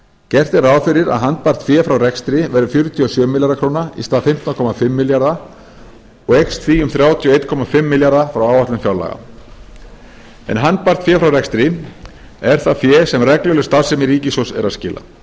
gert er ráð fyrir að handbært fé frá rekstri verði fjörutíu og sjö milljarðar króna í stað fimmtán komma fimm milljarða og eykst því um þrjátíu og einn komma fimm milljarða frá áætlun fjárlaga handbært fé frá rekstri er það fé sem regluleg starfsemi ríkissjóðs er að skila